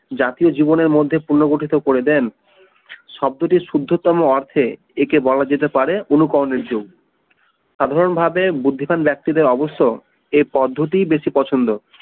জাতীয় জীবনের মধ্যে পুনর্গঠিত করে দেন শব্দটির শুদ্ধতম অর্থে একে বলা যেতে পারে অনুকরণের যুগ সাধারণভাবে বুদ্ধিমান ব্যক্তিদের অবশ্য এ পদ্ধতি বেশী পছন্দ